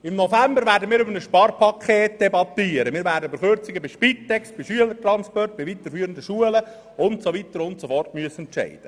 Im November werden wir über ein Sparpaket debattieren, und werden über Kürzungen bei Spitex, Schülertransporten, weiterführenden Schulen usw. entscheiden müssen.